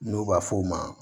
N'u b'a f'o ma